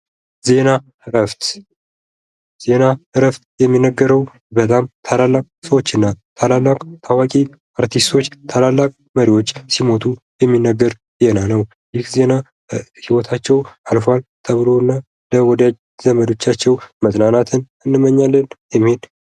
ዜና እረፍት፤ ዜና እረፍት የሚነገረው በጣም ታላላቅ ሰዎችንና ታዋቂ አርቲስቶች፣ ታላላቅ መሪዎች ሲሞቱ የሚነገር ዜና ነው። የዜና ህይወታቸው አልፏል ተብሎናል ወደ ዘመዶቻቸው ነፃናትን እንመኛለን የሚል...